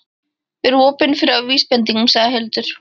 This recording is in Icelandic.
Vera opin fyrir vísbendingum, sagði Hildur.